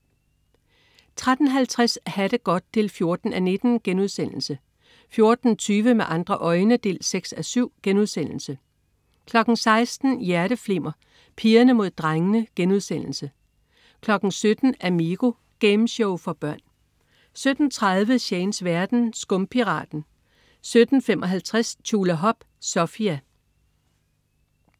13.50 Ha' det godt 14:19* 14.20 Med andre øjne 6:7* 16.00 Hjerteflimmer: Pigerne mod drengene* 17.00 Amigo. Gameshow for børn 17.30 Shanes verden. Skumpiraten 17.55 Tjulahop. Sofia